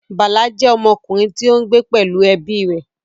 Bala jẹ́ ọmọkùnrin tí ó ń gbé pẹ̀lú ẹbí rẹ̀